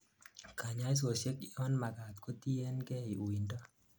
kanyaisosiek yonmagat kotienkei uindo